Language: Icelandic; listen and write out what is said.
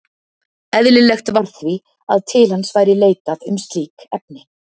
Eðlilegt var því, að til hans væri leitað um slík efni.